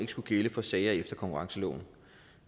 skulle gælde for sager efter konkurrenceloven